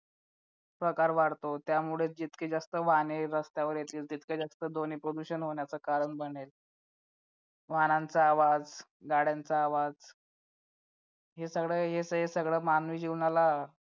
प्रकार वाढतो त्यामुळे जितकी जास्त वाहने रस्त्यावर येतील तितके जास्त ध्वनी प्रदूषण होण्याचं कारण बनेल वाहनांचा आवाज गाड्यांचा आवाज हे सगळं याचं हे सगळं मानवी जीवनाला